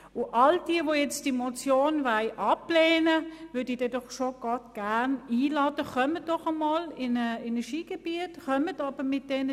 Alle diejenigen, die diese Motion jetzt ablehnen wollen, würde ich gerne einmal in ein Skigebiet einladen.